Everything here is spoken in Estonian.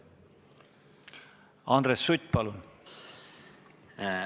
Andres Sutt, palun!